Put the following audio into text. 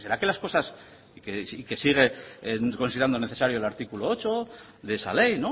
que las cosas que sigue considerando necesario el artículo ocho de esa ley